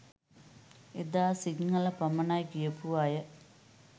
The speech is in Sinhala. එදා සිංහල පමණයි කියපු අය